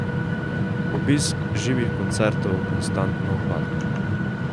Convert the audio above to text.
Obisk živih koncertov konstantno upada ...